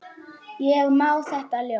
Ég man þetta óljóst.